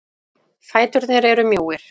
Fæturnir eru mjóir.